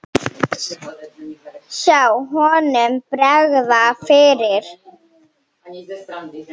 Sjá honum bregða fyrir!